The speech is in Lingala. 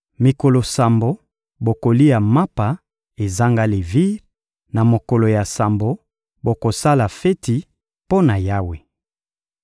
Mikolo sambo, bokolia mapa ezanga levire; na mokolo ya sambo, bokosala feti mpo na Yawe.